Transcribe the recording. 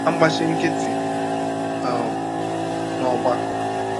agbachi nkịtị um n’ọgbakọ. ”